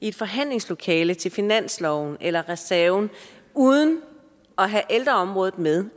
et forhandlingslokale til finansloven eller reserven uden at have ældreområdet med